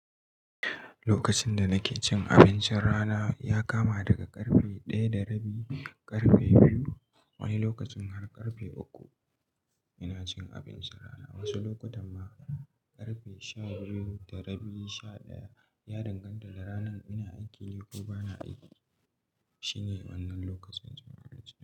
Lokacin da nake cin abincin rana ya kama daga karfe daya da rabi, karfe biyu, wani lokacin har karfe uku ina cin abincin rana. Wasu lokutan ma karfe sha biyu da rabi, sha ɗaya ya danganta da ranar ina aiki ne ko bana aiki. Shine wannan lokacin cin abinci.